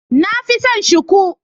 Na fi son shuku.